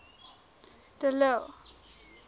de lille